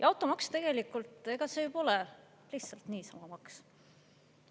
Automaks tegelikult pole lihtsalt niisama maks.